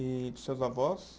E dos seus avós?